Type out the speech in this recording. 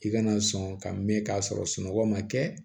I kana sɔn ka mɛn ka sɔrɔ sunɔgɔ man kɛ